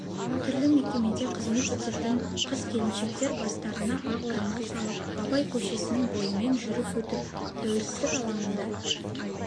түрлі мекемеде қызмет ететін қыз-келіншектер бастарына ақ орамал салып абай көшесінің бойымен жүріп өтіп тәуелсіздік алаңында